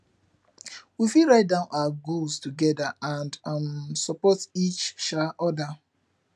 we fit write down our goals together and um support each um other